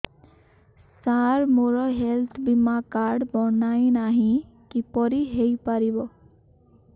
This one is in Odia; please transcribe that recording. ସାର ମୋର ହେଲ୍ଥ ବୀମା କାର୍ଡ ବଣାଇନାହିଁ କିପରି ହୈ ପାରିବ